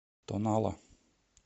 тонала